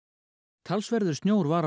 talsverður snjór var á